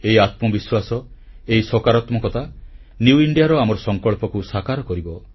ଏହି ଆତ୍ମବିଶ୍ୱାସ ଏହି ସକାରାତ୍ମକତା ନ୍ୟୁ ଇଣ୍ଡିଆ ର ଆମର ସଂକଳ୍ପକୁ ସାକାର କରିବ